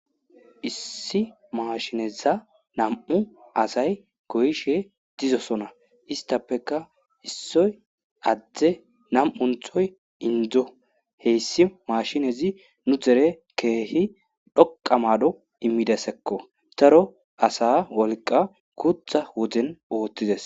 issi maashineza nam7u asay goyishe dizosona istappeka issoy adde nam7unthoy indzo heyssi maashinezi nu dere keehi dhoqa maado immidasekko taro asa wolqa gutha woden oottides